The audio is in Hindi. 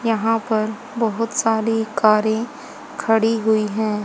यहां पर बहुत सारी कारें खड़ी हुई हैं।